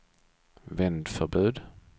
vändförbud